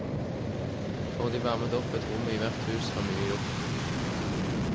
Får de varmet opp ett rom i hvert hus, er mye gjort.